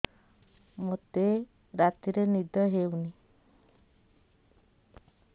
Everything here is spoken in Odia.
ମୋତେ ରାତିରେ ନିଦ ହେଉନି